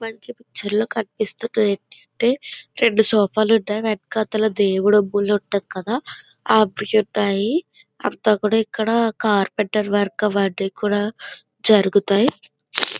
మనకి పిక్చర్లో కనిపిస్తున్నవి ఏంటంటే రెండు సోఫాలు ఉన్నాయి. వెనకాతల దేవుడి గుడి ఉంటది కదా అది ఉన్నాయి. అంత కూడా కార్పెంటర్ వర్క్ అవన్నీ కూడా జరుగుతాయి.